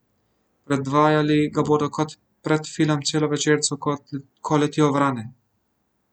Predvajali ga bodo kot predfilm celovečercu Ko letijo vrane.